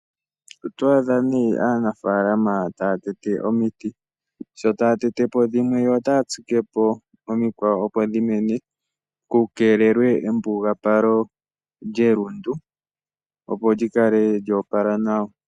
Oto aadha nee aanafaalama ta ya tete omiti sho ta yatetepo dhimwe yo ota ya tsikepo omikwawo opo dhi mene, ku keelewe embugapalo lyelundu opo lyi kale lya opala nawa.